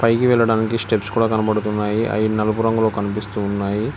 దిగి వెళ్లడానికి స్టెప్స్ కూడా కనబడుతున్నాయి అయి నలుపు రంగులో కనిపిస్తూ ఉన్నాయి.